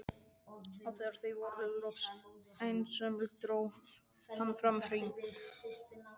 Og þegar þau voru loks einsömul dró hann fram hring.